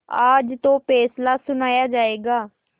आज तो फैसला सुनाया जायगा